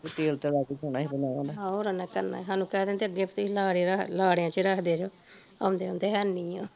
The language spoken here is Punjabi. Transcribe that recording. ਆਹੋ ਹੋਰ ਓਹਨਾ ਕੀ ਕਰਨਾ ਸੀ ਓਹ ਅੱਗੇ ਸਾਨੂੰ ਕਹਿ ਦਿੰਦੇ ਅੱਗੇ ਤੁਸੀਂ ਲਾਰੇ ਲਾਰਿਆ ਚ ਰੱਖਦੇ ਜੇ ਆਉਂਦੇ ਆਦੇ ਹੈ ਨੀ ਆ